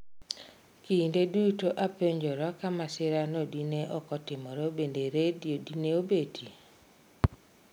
Kinde duto apenjora ka masirano dine okotimore bende redio dine obetie?